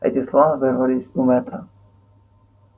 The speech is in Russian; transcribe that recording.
эти слова вырвались у мэтта